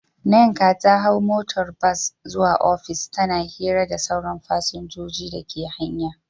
Nneka ta hau motar bas zuwa ofis, tana hira da sauran fasinjojin dake hanya.